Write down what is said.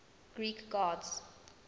greek gods